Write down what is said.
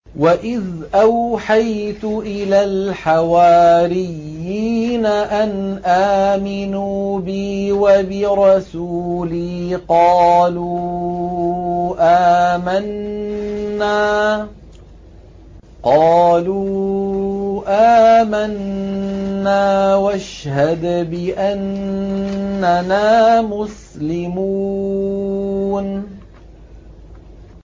وَإِذْ أَوْحَيْتُ إِلَى الْحَوَارِيِّينَ أَنْ آمِنُوا بِي وَبِرَسُولِي قَالُوا آمَنَّا وَاشْهَدْ بِأَنَّنَا مُسْلِمُونَ